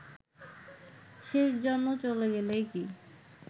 শেষজনও চলে গেলেই কি